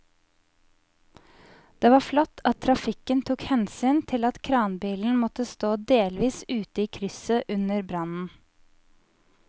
Det var flott at trafikken tok hensyn til at kranbilen måtte stå delvis ute i krysset under brannen.